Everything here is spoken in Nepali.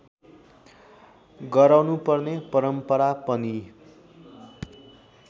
गराउनुपर्ने परम्परा पनि